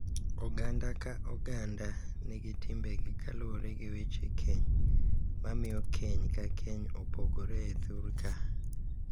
Oganda ka oganda nigi timbegi kaluwore gi weche keny mamiyo keny ka keny opogore e thur ka.